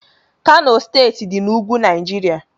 Kano steeti dị na ugwu Naijiria